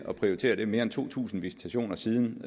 og prioriteret mere end to tusind visitationer siden